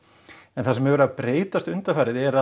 en það sem hefur verið að breytast undanfarið er